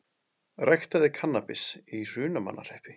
Ræktaði kannabis í Hrunamannahreppi